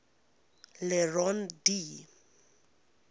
le rond d